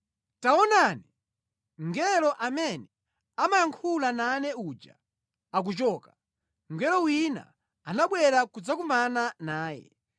Taonani, mngelo amene amayankhula nane uja akuchoka, mngelo wina anabwera kudzakumana naye